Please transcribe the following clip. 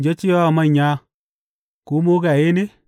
ya ce wa manya Ku mugaye ne,’